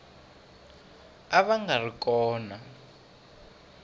va a nga ri kona